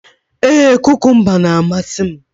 Ee, kukumba na-amasị m